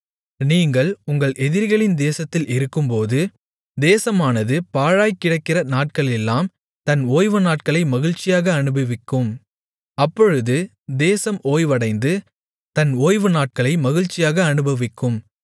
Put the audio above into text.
நீங்கள் உங்கள் எதிரிகளின் தேசத்தில் இருக்கும்போது தேசமானது பாழாய்க்கிடக்கிற நாட்களெல்லாம் தன் ஓய்வுநாட்களை மகிழ்ச்சியாக அனுபவிக்கும் அப்பொழுது தேசம் ஓய்வடைந்து தன் ஓய்வுநாட்களை மகிழ்ச்சியாக அனுபவிக்கும்